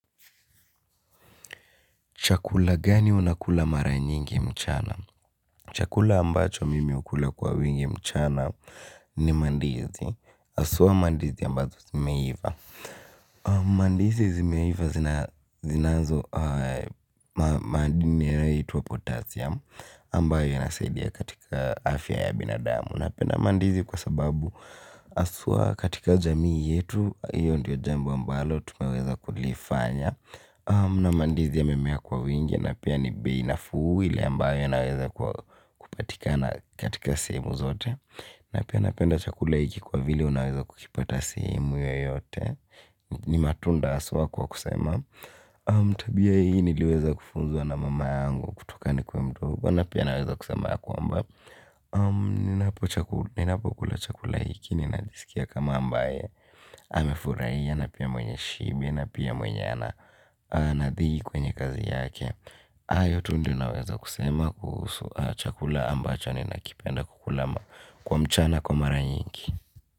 Chakula gani unakula mara nyingi mchana? Chakula ambacho mimi ukula kwa wingi mchana ni mandizi. Aswa mandizi ambazo zimeiva. Mandizi zimeiva zinazo madini yahitwa potassium ambayo inasaidia katika afya ya binadamu. Napenda mandizi kwa sababu aswa katika jamii yetu. Iyo ndiyo jambo ambalo tumeweza kulifanya. Na mandizi yamimea kwa wingi. Na pia ni bei nafuu ile ambayo unaweza kupatikana katika sehemu zote. Na pia napenda chakula iki kwa vile unaweza kukipata sehemu yoyote. Ni matunda aswa kwa kusema. Tabia hii niliweza kufunzwa na mama yangu. Kutoka ni kwe mdo huko. Na pia naweza kusema kwamba ninapo kula chakula iki ninajisikia kama ambaye amefuraia na pia mwenye shibe. Na pia mwenye anadhiki kwenye kazi yake. Ayo tu ndio naweza kusema kuhusu chakula ambacho ni nakipenda kukula kwa mchana kwa mara nyingi.